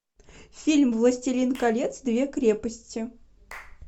фильм властелин колец две крепости